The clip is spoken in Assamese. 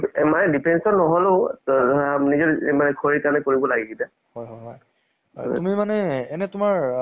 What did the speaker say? favourite movies টো মোৰ তো actor হয় south ৰ টো আল্লু অৰ্জুনে হয় মোৰ favourite actor